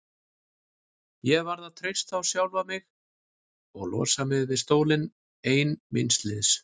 Ég varð að treysta á sjálfa mig og losa mig við stólinn ein míns liðs.